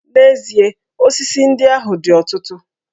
N'ezie, osisi ndị ahụ dị ọtụtụ